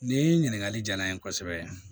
Nin ɲininkakali jara n ye kosɛbɛ